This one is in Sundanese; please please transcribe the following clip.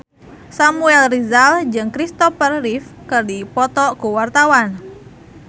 Samuel Rizal jeung Christopher Reeve keur dipoto ku wartawan